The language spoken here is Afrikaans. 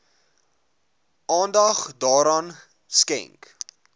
aandag daaraan skenk